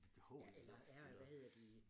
Eller er eller hvad hedder de